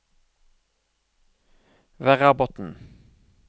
Verrabotn